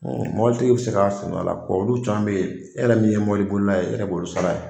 mɔbiltigi bɛ se ka faamu a la olu caman bɛ e yɛrɛ min ye mɔbilibolila ye e yɛrɛ b'olu sara ye.